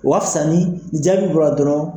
O ka fisa ni o jaabi bɔra dɔrɔn